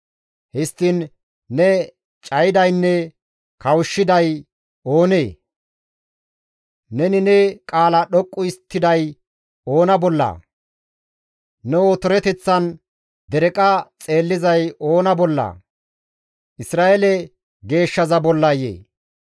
Histtiin ne cayidaynne kawushshiday oonee? Neni ne qaala dhoqqu histtiday oona bollaa? ne otoreteththan dereqa xeellizay oona bollaa? Isra7eele geeshshaza bollayee!